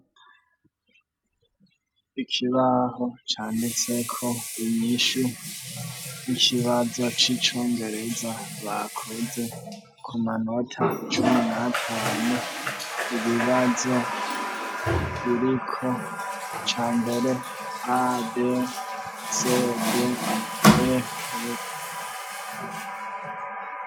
Ikibaho canditseko inyishu y'ikibazo c'icongereza bakoze, ku manota cumi n'atanu. Ibibazo biriko ica mbere a b s d e f .